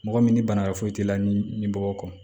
Mɔgɔ min ni bana wɛrɛ foyi t'i la ni ɲimi bɔ kɔ